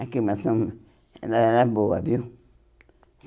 A climação ela era boa, viu?